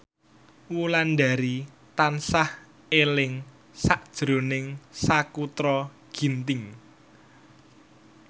Wulandari tansah eling sakjroning Sakutra Ginting